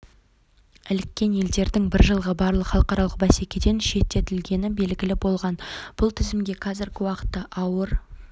іліккен елдердің бір жылғы барлық халықаралық бәсекеден шеттетілгені белгілі болған бұл тізімге қазіргі уақытта ауыр